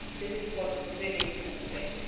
This is what is really at stake.